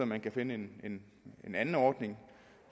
man kunne finde en anden ordning